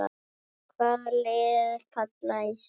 Hvaða lið falla í sumar?